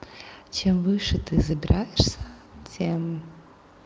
чем выше ты забираешься тем